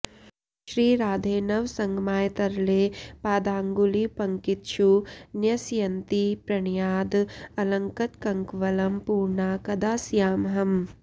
श्रीराधे नवसङ्गमाय तरले पादाङ्गुलीपङ्क्तिषु न्यस्यन्ती प्रणयाद् अलक्तककवलं पूर्णा कदा स्यामहम्